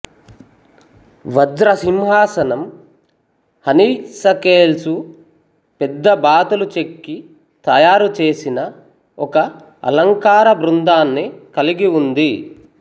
వజ్ర సింహాసనం హనీసకేల్సు పెద్దబాతులు చెక్కి తయారు చేసిన ఒక అలంకార బృందాన్ని కలిగి ఉంది